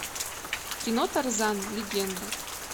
кино тарзан легенда